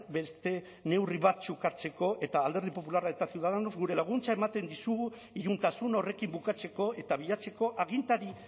beste neurri batzuk hartzeko eta alderdi popularra eta ciudadanos gure laguntza ematen dizugu iluntasun horrekin bukatzeko eta bilatzeko agintari